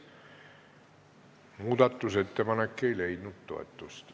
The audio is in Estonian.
Muudatusettepanek ei leidnud toetust.